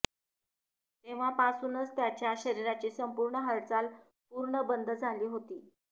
तेव्हापासूनच त्याच्या शरीराची संपूर्ण हालचाल पूर्ण बंद झाली होती